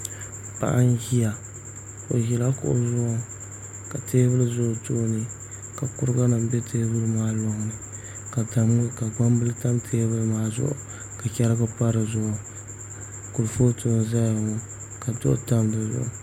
Paɣa n ʒiya o ʒila kuɣu zuɣu ka teebuli ʒɛ o tooni ka kuriga nim bɛ teebuli maa loŋni ka tooni ka gbambili tam teebuli maa zuɣu ka chɛrigi pa dizuɣu kurifooti n ʒɛya ŋo ka duɣu tam di zuɣu